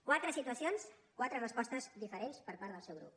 quatre situacions quatre respostes diferents per part del seu grup